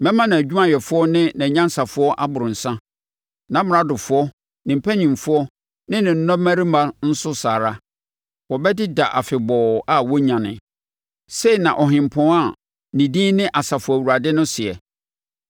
Mɛma nʼadwumayɛfoɔ ne nʼanyansafoɔ aboro nsã, nʼamradofoɔ, ne mpanimfoɔ ne nnɔmmarima nso saa ara; wɔbɛdeda afebɔɔ a wɔrennyane,” sei na ɔhempɔn a ne din ne Asafo Awurade no seɛ.